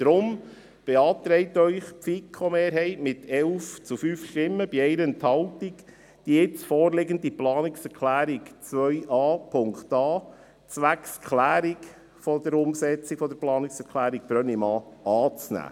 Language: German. Deshalb beantragt die FiKo-Mehrheit mit 11 zu 5 Stimmen bei 1 Enthaltung, die jetzt vorliegende Planungserklärung 2a.a zwecks Klärung der Umsetzung der Planungserklärung Brönnimann anzunehmen.